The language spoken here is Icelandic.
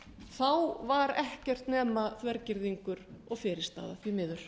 þá var ekkert nema þvergirðingur og fyrirstaða því miður